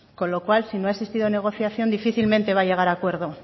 con lo cual si no ha existido negociación difícilmente va a llegar a acuerdo